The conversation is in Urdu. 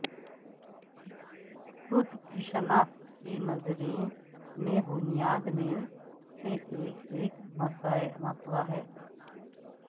خود کی شناخت کے نظریے میں بنیاد میں سے ایک ایک مسئلہ ہے